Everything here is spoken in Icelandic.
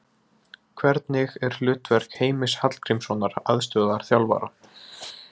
Hvernig er hlutverk Heimis Hallgrímssonar aðstoðarþjálfara?